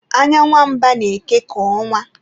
Anya nwa mba na-eke ka ọnwa